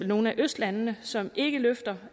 nogle af østlandene som ikke løfter